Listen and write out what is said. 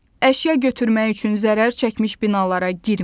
Əşya götürmək üçün zərər çəkmiş binalara girməyin.